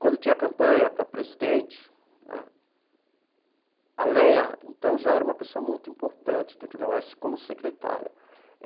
Quando tinha campanha para presidente né, a Leia, então, já era uma pessoa muito importante dentro da UESP como secretária.